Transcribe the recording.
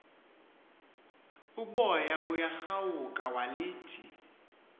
uboya buyarawuka walithi